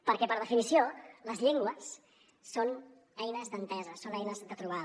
perquè per definició les llengües són eines d’entesa són eines de trobada